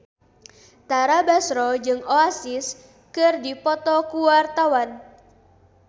Tara Basro jeung Oasis keur dipoto ku wartawan